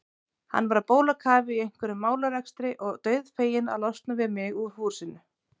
Hann var á bólakafi í einhverjum málarekstri og dauðfeginn að losna við mig úr húsinu.